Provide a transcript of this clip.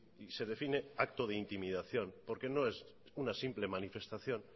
y se define actos de intimidación porque no es una simple manifestación